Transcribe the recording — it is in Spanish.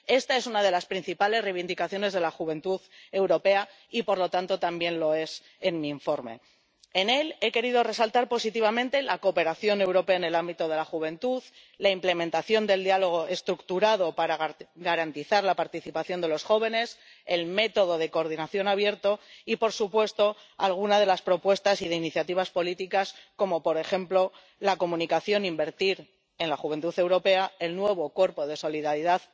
Esta es una de las principales reivindicaciones de la juventud europea, y, por lo tanto, también lo es en mi informe. En él he querido resaltar positivamente la cooperación europea en el ámbito de la juventud, la implementación del diálogo estructurado para garantizar la participación de los jóvenes, el método de coordinación abierto y, por supuesto, alguna de las propuestas e iniciativas políticas como, por ejemplo, la iniciativa Invertir en la juventud europea, el nuevo Cuerpo Europeo de Solidaridad